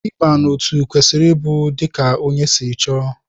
Ịba n'otu kwesịrị ịbụ dika ónyé si chọọ.